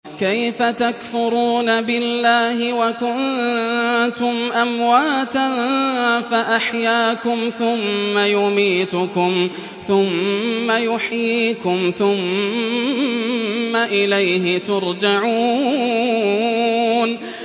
كَيْفَ تَكْفُرُونَ بِاللَّهِ وَكُنتُمْ أَمْوَاتًا فَأَحْيَاكُمْ ۖ ثُمَّ يُمِيتُكُمْ ثُمَّ يُحْيِيكُمْ ثُمَّ إِلَيْهِ تُرْجَعُونَ